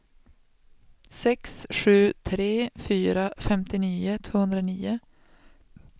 sex sju tre fyra femtionio tvåhundranio